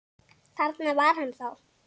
Þarna var hann þá!